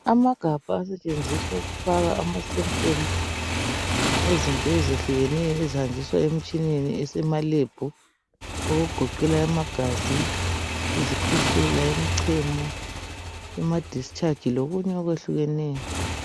Amagabha asetshenziswa ukufaka ama sempulu ezinto ezehlukeneyo ezanjiswa emitshineni esemalab okugoqela amagazi izikhwehlela imichemo ama discharge lokunye okwehlukeneyo